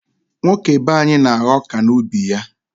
Nwoke be anyị na-agha ọka n'ubi ya.